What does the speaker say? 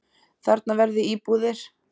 Þarna verði íbúðir.